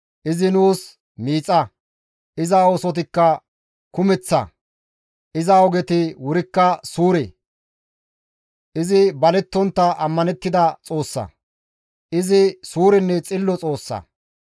«Izi nuus miixa; iza oosotikka kumeththa; Iza ogeti wurikka suure; izi balettontta ammanettida Xoossa; izi suurenne xillo Xoossa.